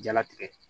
Jalatigɛ